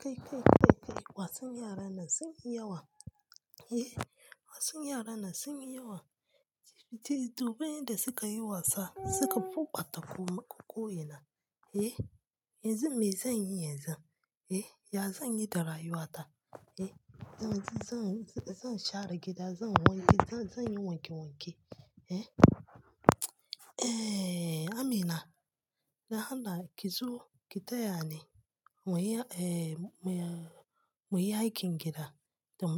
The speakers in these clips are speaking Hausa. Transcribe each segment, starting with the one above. Kai, kai, kai, kai, kai, wasan yara nan sun yi yawa. Eh, wasan yara nan sun yi yawa. Titi, domin yanda suka yi wasa, suka fuka tafawa makoko ina. Eh, yanzu me zan yi yanzun? Eh, ya zan yi da rayuwata? Eh zan zan zan share gida zan yi wanki zan zan yi wanke wanke. Eh, Amina, lahana ki zo ki taya ni mu yi, eh, mu yi, mu yi aikin gida.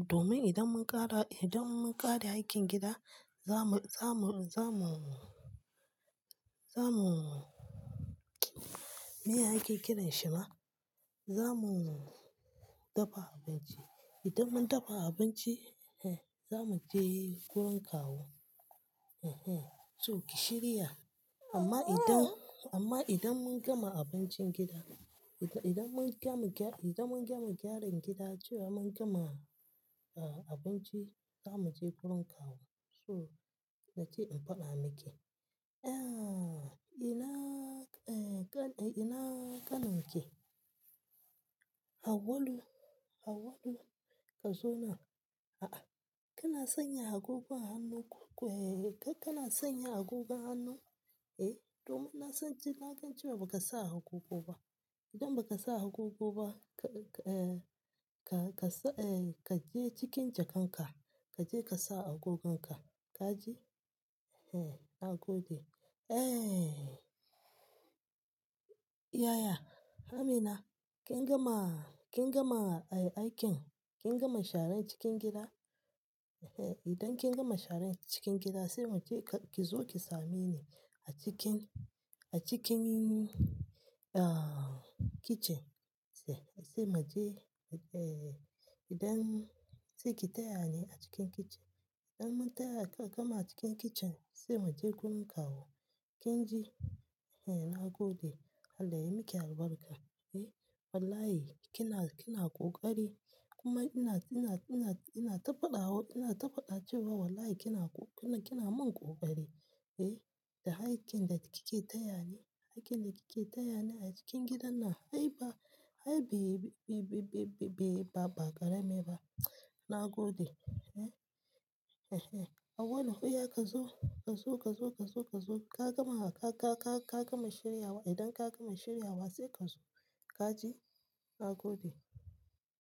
Domin idan mun ƙara, idan mun ƙare aikin gida, zamu, zamu, zamu, zamu, miya ake kiran shi ma? Zamu dafa abinci. Idan mun dafa abinci, eh, zamu je wurin kawu. Ehe, so ki shirya. Amma idan, amma idan mun gama abincin gida, ida idan mun gama gya-, idan mun gama gyaran gida cewa mun gama, ah, abinci, zamu je gurin kawu. So nace in faɗa miki. Eh, ina, eh, ka ina kanin ki. Hawwalu, Hawwalu ka zo nan. A'a, kina sanya agogo a hannu ko ko, eh, kai kana sanya agogon hannu, eh, domin na san jin na gan cewa ba ka sa agogo ba. Idan ba ka sa agogo ba, ka, eh, ka, ka sa, eh, ka je cikin jakanka, ka je ka sa agogonka. Kaji ehe nagode. Eh. Yaya, Amina kin gama, kin gama, eh, aikin, kin gama sharar cikin gida? Ehe, idan kin gama sharan cikin gida sai mu je ka-- ki zo ki same ni a cikin, a cikin, ah, kicin sai, sai mu je, eh, idan, sai ki taya ni a cikin kicin. Idan mun taya ka kama cikin kicin sai mu je gurin kawu. Kin ji? Ehe, na gode. Allah ya miki albarka. Eh, wallahi kina, kina ƙoƙari kuma ina, ina, ina, ina ta faɗa, ina ta faɗa cewa wallahi kina ko-- kina mun ƙoƙari. Eh, da aikin da kike taya ni, aikin da kike taya ni a cikin gidan nan ai ba, ai be, be, be, be, ba, ba karami ba. Na gode. Eh, ehe. Hawwalu, iya ka zo, ka zo, ka zo, ka zo, ka zo. Ka gama, ka, ka, ka, ka gama shiryawa. Idan ka gama shiryawa sai ka zo. Ka ji? Na gode.